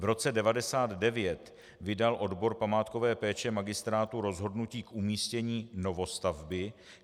V roce 1999 vydal odbor památkové péče magistrátu rozhodnutí k umístění novostavby.